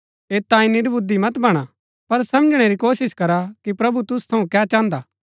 ऐत तांई निर्बुद्धि मत बणा पर समझणै री कोशिश करा कि प्रभु तुसु थऊँ कै चाहन्दा हा